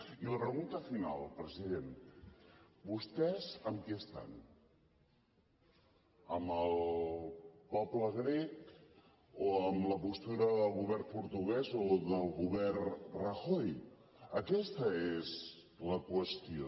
i la pregunta final president vostès amb qui estan amb el poble grec o amb la postura del govern portuguès o del govern rajoy aquesta és la qüestió